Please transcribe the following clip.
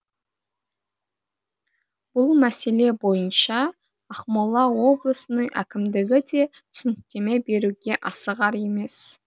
бұл мәселе бойынша ақмола облысының әкімдігі де түсініктеме беруге асығар емес